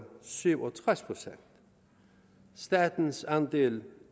syv og tres procent statens andel